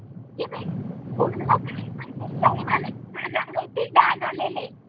त्यांनी मला माझ्या अंगावरती डाग आलेले.